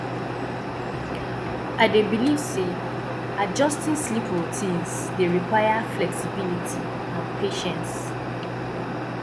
i dey believe say adjusting sleep routines dey require flexibility and patience